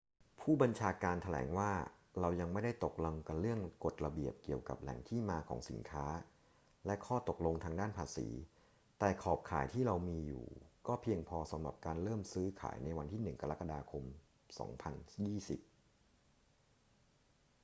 ผู้บัญชาการแถลงว่า เรายังไม่ได้ตกลงกันเรื่องกฎระเบียบเกี่ยวกับแหล่งที่มาของสินค้าและข้อตกลงทางด้านภาษี แต่ขอบข่ายที่เรามีอยู่ก็เพียงพอสำหรับการเริ่มซื้อขายในวันที่ 1 กรกฎาคม 2020